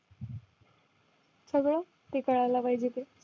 सगळं ते कळायला पाहिजे ते